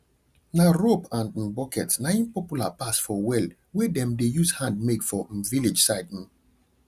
nah rope and um bucket nah im popular pass for well wey dem dey use hand make for um village side um